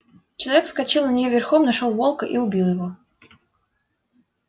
человек вскочил на неё верхом нашёл волка и убил его